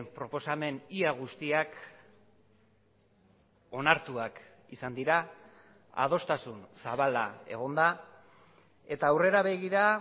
proposamen ia guztiak onartuak izan dira adostasun zabala egon da eta aurrera begira